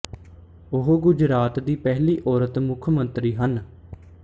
ਉਹ ਗੁਜਰਾਤ ਦੀ ਪਹਿਲੀ ਔਰਤ ਮੁੱਖ ਮੰਤਰੀ ਹਨ